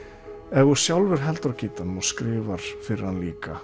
ef þú sjálfur heldur á gítarnum og skrifar fyrir hann líka